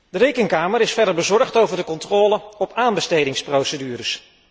De Rekenkamer is verder bezorgd over de controle op aanbestedingsprocedures.